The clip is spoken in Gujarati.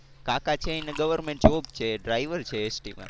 કાકા છે એમને goverment job છે ડ્રાઇવર છે ST માં.